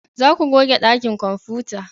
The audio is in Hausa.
Za ku goge dakin kwamfuta!